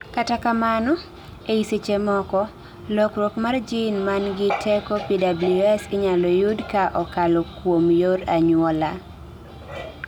kata kamano ei sechemoko, lokruok mar gene mangi teko PWS inyalo yud kaa okalo kuom yor anyuola